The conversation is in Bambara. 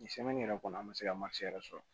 yɛrɛ kɔni an ma se ka yɛrɛ sɔrɔ